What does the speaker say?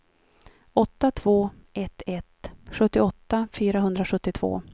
åtta två ett ett sjuttioåtta fyrahundrasjuttiotvå